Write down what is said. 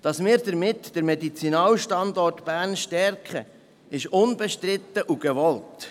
Dass wir damit den Medizinalstandort Bern stärken, ist unbestritten und gewollt.